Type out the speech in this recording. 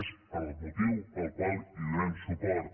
és el motiu pel qual hi donem suport